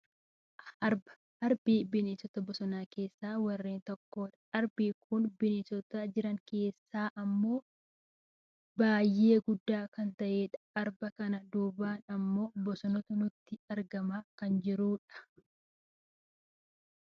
Arba , arbi bineensota bosonaa keessaa warreen tokko dha. Arbi kun bineensota jiran keessaa ammoo bineensa baayyee guddaa kan ta'e dha. Arba kana duubaan ammoo bosonatu nutti argamaa kan jirudha.